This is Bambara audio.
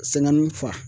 Sɛŋɛni fa